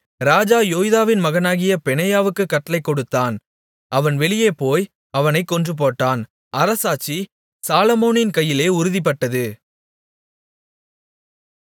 ராஜா யோய்தாவின் மகனாகிய பெனாயாவுக்குக் கட்டளை கொடுத்தான் அவன் வெளியே போய் அவனைக் கொன்றுபோட்டான் அரசாட்சி சாலொமோனின் கையிலே உறுதிப்பட்டது